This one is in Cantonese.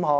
項......